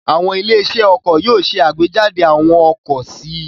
Àwọn ilé-iṣẹ́ ọkọ̀ yóò ṣe àgbéjáde àwọn ọkọ̀ sí i.